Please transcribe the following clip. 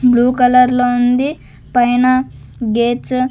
Blue కలర్లో ఉంది పైన గేట్స్ .